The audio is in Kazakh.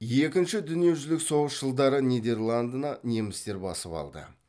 екінші дүниежүзілік соғыс жылдары нидерландыны немістер басып алды